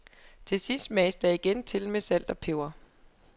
Til sidst smages der igen til med salt og peber.